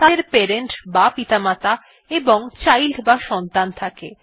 তাদের প্যারেন্ট বা পিতামাতা এবং চাইল্ড বা সন্তান থাকে